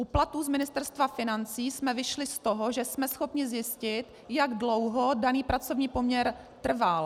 U platů z Ministerstva financí jsme vyšli z toho, že jsme schopni zjistit, jak dlouho daný pracovní poměr trval.